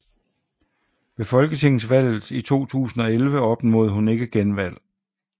Ved Folketingsvalget 2011 opnåede hun ikke genvalg